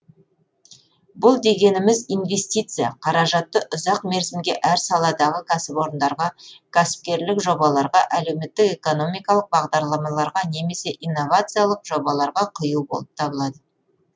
бұл дегеніміз инвестиция қаражатты ұзақ мерзімге әр саладағы кәсіпорындарға кәсіпкерлік жобаларға әлеуметтік экономикалық бағдарламаларға немесе иновациялық жобаларға құю болып табылады